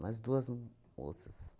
Mais duas moças.